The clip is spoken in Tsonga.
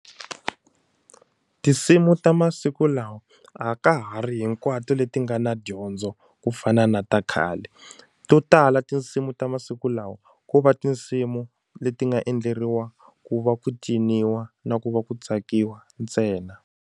Tinsimu ta masiku lawa a ka ha ri hinkwato leti nga na dyondzo ku fana na ta khale to tala tinsimu ta masiku lawa ko va tinsimu leti nga endleriwa ku va ku ciniwa na ku va ku tsakiwa ntsena.